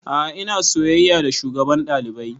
A'a ina soyayya da shugaban ɗalibai